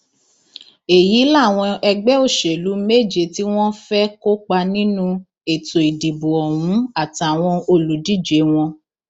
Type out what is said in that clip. èyí làwọn ẹgbẹ òṣèlú méje tí wọn fẹẹ kópa nínú ètò ìdìbò ọhún àtàwọn olùdíje wọn